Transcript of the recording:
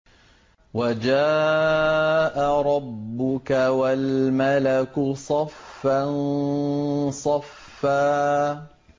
وَجَاءَ رَبُّكَ وَالْمَلَكُ صَفًّا صَفًّا